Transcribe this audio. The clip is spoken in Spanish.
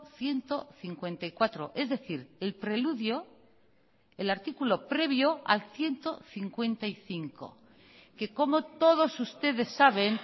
ciento cincuenta y cuatro es decir el preludio el artículo previo al ciento cincuenta y cinco que como todos ustedes saben